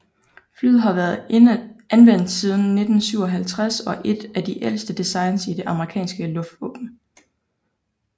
Flyet har været anvendt siden 1957 og er et af de ældste designs i det amerikanske luftvåben